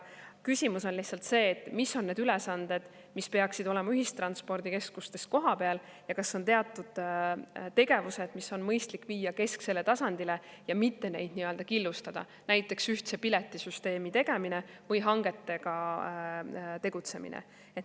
Küsimus on lihtsalt see, et mis on need ülesanded, mis peaksid olema ühistranspordikeskustes kohapeal, ja kas on teatud tegevused, mis on mõistlik viia kesksele tasandile ja mitte neid killustada, näiteks ühtse piletisüsteemi tegemine või hangetega tegutsemine.